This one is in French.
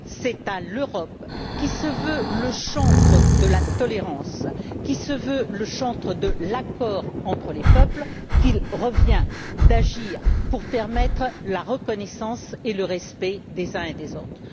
C'est à l'Europe, qui se veut le chantre de la tolérance et de l'accord entre les peuples, qu'il revient d'agir pour permettre la reconnaissance et le respect des uns et des autres.